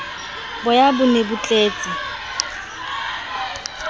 boya ho ne ho tletse